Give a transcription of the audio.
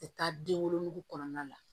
Tɛ taa den wolonugu kɔnɔna la